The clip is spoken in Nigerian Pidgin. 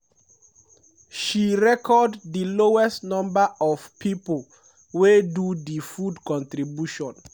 she record di lowest number of pipo wey do di food contribution.